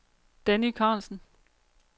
Danny Carlsen